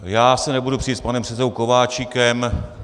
Já se nebudu přít s panem předsedou Kováčikem.